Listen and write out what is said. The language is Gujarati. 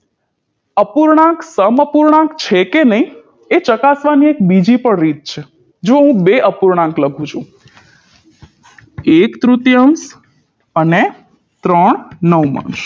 અપૂર્ણાંક સમઅપૂર્ણાંક છે કે નહી એ ચકાસવાની બીજી પણ રીત છે જો હું બે અપૂર્ણાંક લખું છું એક તૃતીયાંસ અને ત્રણ નવમાંશ